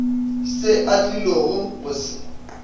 se a tlilogo go se